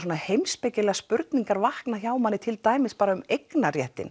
heimspekilegar spurningar vakna hjá manni til dæmis bara um